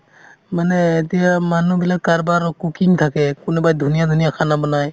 মানে এতিয়া মানুহ বিলাক কাৰোবাৰ cooking থাকে কোনোবাই ধুনীয়া ধুনীয়া khana বনায়